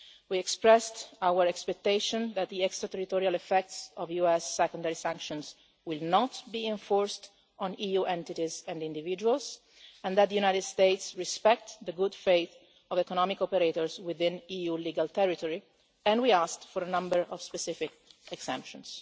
We expressed our expectation that the extra-territorial effects of US secondary sanctions will not be enforced on EU entities and individuals, and that the United States respect the good faith of economic operators within EU legal territory, and we asked for a number of specific exemptions.